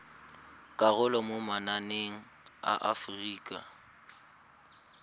karolo mo mananeng a aforika